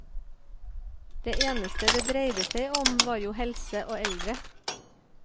Det eneste det dreide seg om var jo helse og eldre.